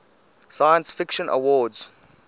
science fiction awards